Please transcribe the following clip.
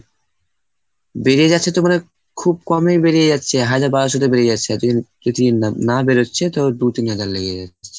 বেড়ে যাচ্ছে তো মানে খুব কমই বেরিয়ে যাচ্ছে হাজার বারোশোতে বেরিয়ে যাচ্ছে। এতদিন প্রতিদিন না বেরোচ্ছে তো দু তিন হাজার লেগে যাচ্ছে।